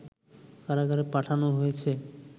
কারাগারে পাঠানো হয়